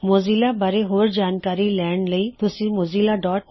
Mozilla ਬਾਰੇ ਹੋਰ ਜਾਣਕਾਰੀ ਲੈਣ ਲਈ ਤੁਸੀ mozillaਓਰਗ ਤੇ ਜਾ ਸਕਦੇ ਹੋ